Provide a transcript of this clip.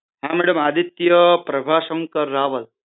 હા મેડમ આદિત્ય પ્રભાશંકર રાવલ